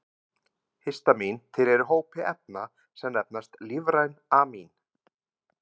Histamín tilheyrir hópi efna sem nefnast lífræn amín.